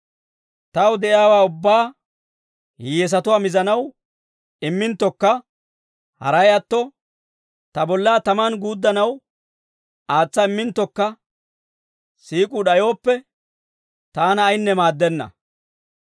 Taw de'iyaawaa ubbaa hiyyeesatuwaa mizanaw imminttokka haray atto, ta bollaa tamaan guuddanaw aatsa imminttokka siik'uu d'ayooppe, taana ayinne maaddenna.